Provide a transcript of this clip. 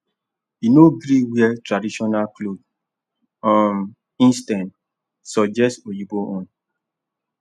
e no gree wear traditional cloth um instead suggest oyibo own